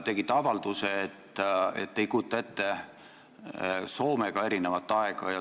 Te tegite avalduse, et te ei kujuta ette Soomega erinevat aega.